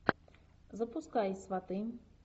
запускай сваты